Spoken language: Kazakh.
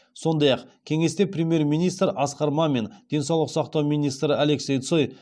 сондай ақ кеңесте премьер министр асқар мамин денсаулық сақтау министрі алексей цой